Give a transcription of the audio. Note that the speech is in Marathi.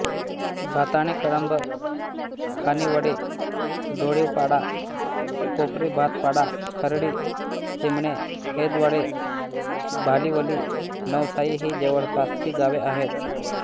भाताणेकळंब खानिवडे डोळीवपाडा कोपरीभातपाडा खर्डी चिमणे हेदवडे भालीवली नवसाई ही जवळपासची गावे आहेत